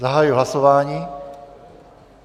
Zahajuji hlasování.